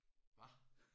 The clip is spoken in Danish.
Hva?